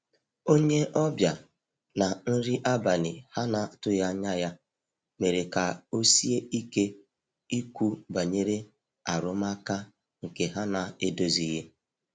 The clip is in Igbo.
onye obia na nri abali ha na atughi anya ya mere ka osie ike Ikwu banyere arụmaka nke ha na edozilighi.